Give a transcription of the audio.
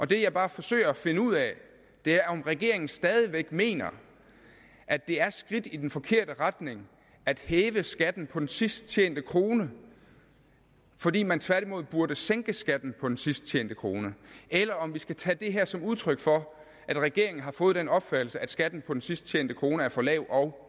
det jeg bare forsøger at finde ud af er om regeringen stadig væk mener at det er skridt i den forkerte retning at hæve skatten på den sidst tjente krone fordi man tværtimod burde sænke skatten på den sidst tjente krone eller om vi skal tage det her som udtryk for at regeringen har fået den opfattelse at skatten på den sidst tjente krone er for lav og